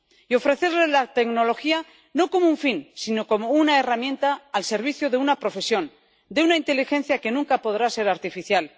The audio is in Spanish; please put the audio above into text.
Y ofrecerles la tecnología no como un fin sino como una herramienta al servicio de una profesión, de una inteligencia que nunca podrá ser artificial.